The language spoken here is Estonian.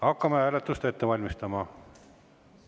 Hakkame hääletust ette valmistama.